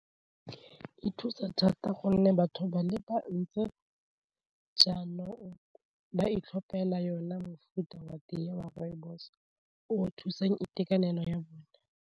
E thusa thata gonne batho ba le bantsi jaanong ba itlhophela yona mofuta wa teye wa rooibos-o thusang itekanelo ya bone.